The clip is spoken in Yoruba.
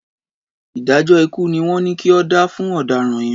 Ìdájọ́ ikú ni wọ́n ní kí o dá fún ọ̀daràn yẹn.